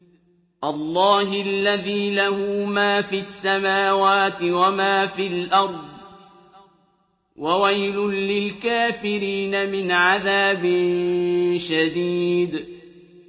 اللَّهِ الَّذِي لَهُ مَا فِي السَّمَاوَاتِ وَمَا فِي الْأَرْضِ ۗ وَوَيْلٌ لِّلْكَافِرِينَ مِنْ عَذَابٍ شَدِيدٍ